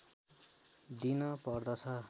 दिन पर्दछ